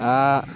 Aa